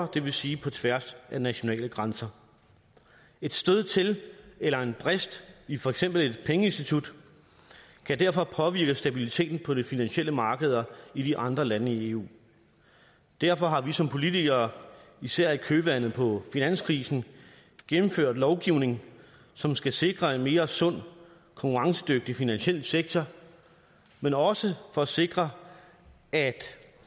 det vil sige på tværs af nationale grænser et stød til eller en brist i for eksempel et pengeinstitut kan derfor påvirke stabiliteten på de finansielle markeder i de andre lande i eu derfor har vi som politikere især i kølvandet på finanskrisen gennemført lovgivning som skal sikre en mere sund konkurrencedygtig finansiel sektor men også for at sikre at